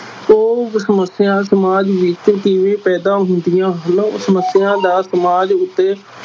ਉਹ ਸਮੱਸਿਆ ਸਮਾਜ ਵਿਚ ਕਿਵੇਂ ਪੈਦਾ ਹੁੰਦੀਆਂ ਹਨ, ਸਮੱਸਿਆ ਦਾ ਸਮਾਜ ਉੱਤੇ